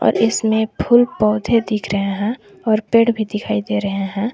इसमें फूल पौधे दिख रहे हैं और पेड़ भी दिखाई दे रहे हैं।